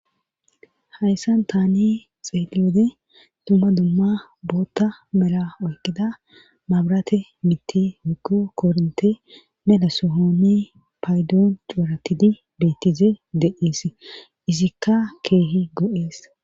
Hayssan taani xeeleode dumma dumma bootta mela oykkida mabrate mitti huko kornte mela sohoni paydoon cuuratidi beettize deees izikka keehi go7ees.